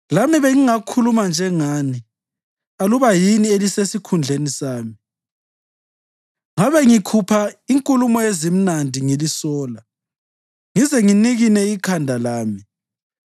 Lami bengingakhuluma njengani aluba yini elisesikhundleni sami; ngabe ngikhupha inkulumo ezimnandi ngilisola ngize nginikine ikhanda lami.